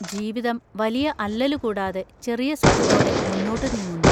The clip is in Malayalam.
ജീവിതം വലിയ അല്ലലു കൂടാതെ ചെറിയ സുഖത്തോടെ മുന്നോട്ടു നീങ്ങുന്നു.